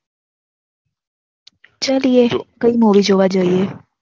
ચલીએ કઈ Movie જોવા જઈએ